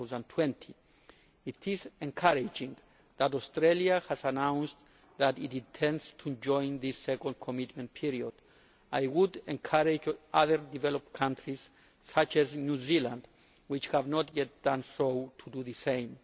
2020. It is encouraging that Australia has announced that it intends to join this second commitment period. I would encourage other developed countries, such as New Zealand, which have not yet done so, to do the same.